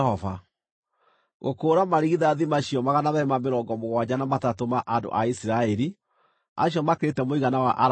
Gũkũũra marigithathi macio 273 ma andũ a Isiraeli, acio makĩrĩte mũigana wa Alawii-rĩ,